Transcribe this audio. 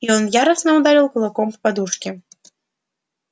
и он яростно ударил кулаком по подушке